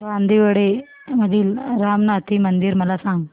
बांदिवडे मधील रामनाथी मंदिर मला सांग